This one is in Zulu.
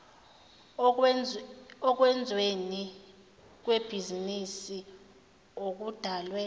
okwenzweni kwebhizinisi okudalwe